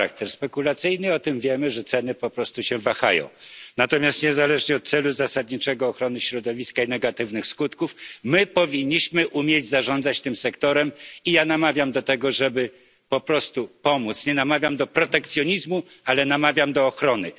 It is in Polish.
Pani poseł, tak, ma charakter spekulacyjny. I o tym wiemy, że ceny po prostu się wahają. Natomiast niezależnie od zasadniczego celu, jakim jest ochrona środowiska, i od negatywnych skutków my powinniśmy umieć zarządzać tym sektorem i ja namawiam do tego, żeby po prostu pomóc. Nie namawiam do protekcjonizmu, ale namawiam do ochrony.